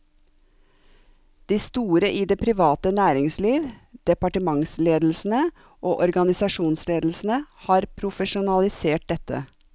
De store i det private næringsliv, departementsledelsene og organisasjonsledelsene har profesjonalisert dette.